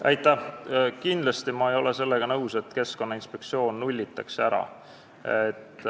Ma ei ole kindlasti nõus sellega, nagu Keskkonnainspektsioon nullitaks ära.